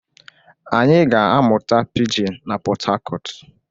Anyị ga-amụta pijin n'Pot Tarcot.